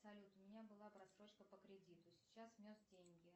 салют у меня была просрочка по кредиту сейчас внес деньги